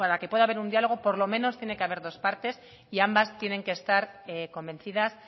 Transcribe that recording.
que pueda haber un diálogo por lo menos tiene que haber dos partes y ambas tienen que estar convencidas